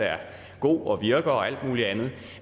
god og virker og alt muligt andet